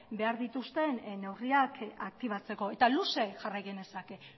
behar dituzten neurriak aktibatzeko eta luze jarrai genezake